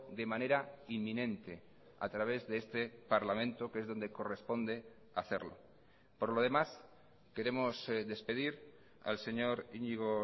de manera inminente a través de este parlamento que es donde corresponde hacerlo por lo demás queremos despedir al señor iñigo